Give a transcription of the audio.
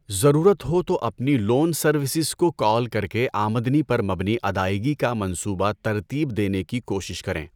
ضرورت ہو تو اپنی لون سروسز کو کال کر کے آمدنی پر مبنی ادائیگی کا منصوبہ ترتیب دینے کی کوشش کریں۔